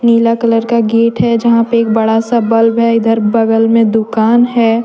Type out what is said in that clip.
नीला colour का gate है यहां पे एक बड़ा सा बल्ब है इधर बगल में दुकान है ।